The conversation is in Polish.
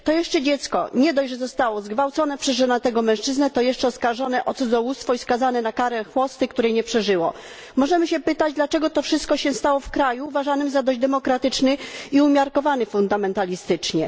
To jeszcze dziecko nie dość, że zostało zgwałcone przez żonatego mężczyznę, to jeszcze zostało oskarżone o cudzołóstwo i skazane na karę chłosty, której nie przeżyło. Możemy się pytać, dlaczego to wszystko stało się w kraju uważanym za dość demokratyczny i umiarkowany fundamentalistycznie.